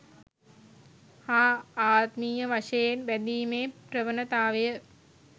හා ආත්මීය වශයෙන් බැඳීමේ ප්‍රවණතාවය